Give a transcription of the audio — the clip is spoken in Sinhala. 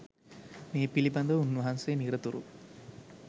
මේ පිළිබඳව උන්වහන්සේ නිරතුරු